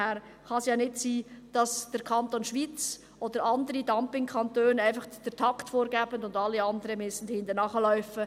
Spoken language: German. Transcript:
Daher kann es ja nicht sein, dass der Kanton Schwyz oder andere Dumping-Kantone einfach den Takt vorgeben und alle anderen hinterherlaufen müssen.